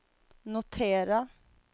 notera